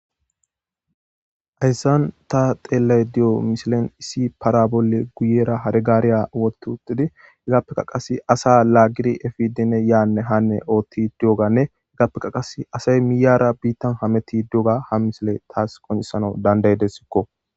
Hayssan ta xelay diyo misilen issi para bolle guyera hargaariya wotutidi higappeka qas asa laaggiri efidine yaanne hanne oothti duoganne iggappekka qas asay miyara biittan hameti doga ha misile taas qonesana dandayedessikko